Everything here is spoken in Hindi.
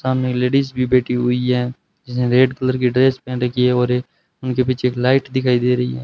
सामने लेडिज भी बैठी हुई है जिसने रेड कलर की ड्रेस पहन रखी है और उनके पीछे एक लाइट दिखाई दे रही है।